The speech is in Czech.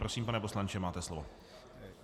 Prosím, pane poslanče, máte slovo.